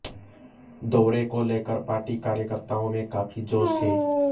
दौरे को लेकर पार्टी कार्यकर्ताओं में काफी जोश है